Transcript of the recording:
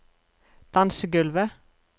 dansegulvet